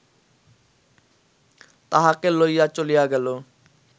তাহাকে লইয়া চলিয়া গেল